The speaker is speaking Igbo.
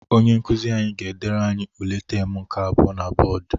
Onye nkuzi ga-edere anyi ule taam nke abụọ na bọdụ.